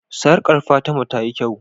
sarƙa Fatima tayi kyau